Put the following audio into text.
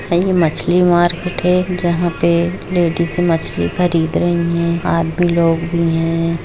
ये एक मछली मार्केट है जहां पे लेडिस मछली खरीद रही है आप भी लोग भी है।